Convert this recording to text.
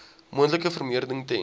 moontlike vervreemding ten